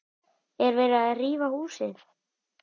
Er verið að rífa húsið?